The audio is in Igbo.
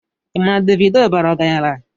Ị ma na Davido bara ọgaranya?